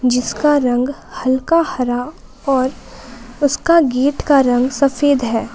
जिसका रंग हल्का हरा और उसका गेट का रंग सफेद है।